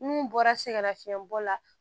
N'u bɔra sɛgɛnna fiɲɛ bɔ la